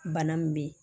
Bana min bɛ yen